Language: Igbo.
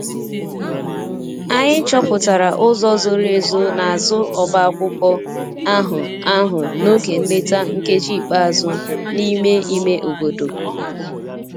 Anyị chọpụtara ụzọ zoro ezo n'azụ ọbá akwụkwọ ahụ ahụ n'oge nleta nkeji ikpeazụ n'ime ime obodo.